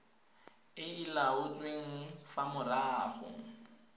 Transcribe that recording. e e laotsweng fa morago